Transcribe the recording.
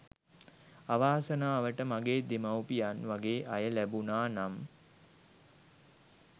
අවාසනාවට මගේ දෙමව්පියන් වගෙ අය ලැබුනා නම්